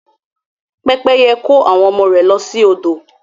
Pẹ́pẹ́yẹ kó àwọn ọmọ rẹ̀ lọ sí odò.